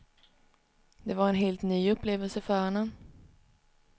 Det var en helt ny upplevelse för honom.